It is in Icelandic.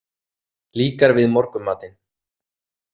Líkar við morgunmatinn?